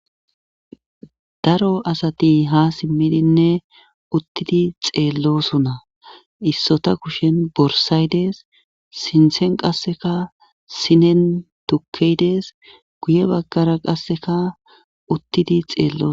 Daro asati ha simmidinne uttidi xeellosuna issota kushen borsaydees sinthen qasseka sinen tukkeydees guye baggara qasseka uttidi xeello